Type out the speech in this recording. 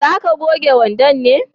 za ka goge wandon ne?